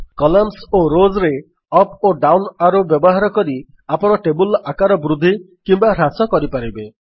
columns ଓ Rowsରେ up ଓ ଡାଉନ୍ ଆରୋ ବ୍ୟବହାର କରି ଆପଣ ଟେବଲ୍ ର ଆକାର ବୃଦ୍ଧି କିମ୍ୱା ହ୍ରାସ କରିପାରିବେ